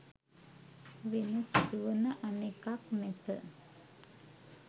වෙන සිදුවන අනෙකක් නැත